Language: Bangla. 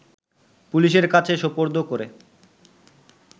পুলিশের কাছে সোপর্দ করে